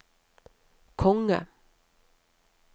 konge